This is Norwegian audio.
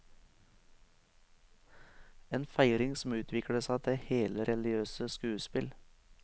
En feiring som utviklet seg til hele religiøse skuespill.